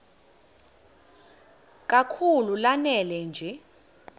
kakhulu lanela nje